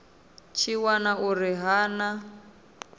tshi wana uri ha na